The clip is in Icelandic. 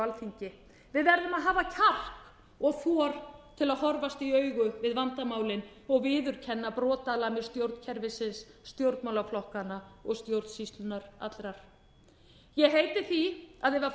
alþingi við verðum að hafa kjark og þor til að horfast í augu við vandamálin og viðurkenna brotalamir stjórnkerfisins stjórnmálaflokkanna og stjórnsýslunnar allrar ég heiti því að ef